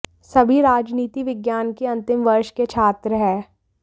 सभी राजनीति विज्ञान के अंतिम वर्ष के छात्र हैं